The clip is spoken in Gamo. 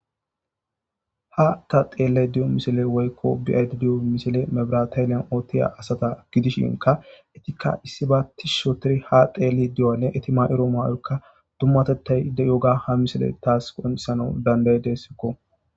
ha ta xeelle diyo misile woykko be'ayd diyo misile mebrataylyan oottiya asata gidishinka itikka issi ba tis shotiri ha xeeli diyonne iti ma7iro maayoykka dummatettay de7oga ha misile taas qonsana dandaydesikko